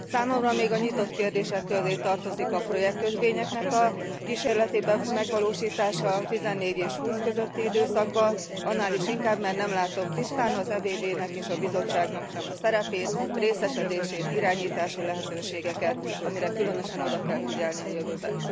Számomra még a nyitott kérdések közé tartozik a projektkötvények a kísérletének megvalósítása 14 és 20 közötti időszakban, annál is inkább, mert nem látom tisztán az EBB nek és a Bizottságnak sem a szerepét, részesedését, irányítási lehetőségeket, amire különösen oda kell figyelni a jövőben.